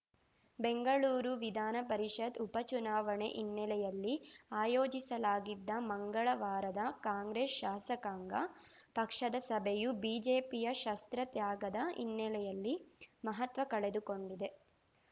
ಬೆಂಗಳೂರು ವಿಧಾನಪರಿಷತ್‌ ಉಪ ಚುನಾವಣೆ ಹಿನ್ನೆಲೆಯಲ್ಲಿ ಆಯೋಜಿಸಲಾಗಿದ್ದ ಮಂಗಳವಾರದ ಕಾಂಗ್ರೆಸ್‌ ಶಾಸಕಾಂಗ ಪಕ್ಷದ ಸಭೆಯು ಬಿಜೆಪಿಯ ಶಸ್ತ್ರ ತ್ಯಾಗದ ಹಿನ್ನೆಲೆಯಲ್ಲಿ ಮಹತ್ವ ಕಳೆದುಕೊಂಡಿದೆ